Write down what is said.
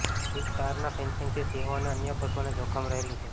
વીજ તારના ફેન્સીંગથી સિંહો અને અન્ય પશુઓને જોખમ રહેલું છે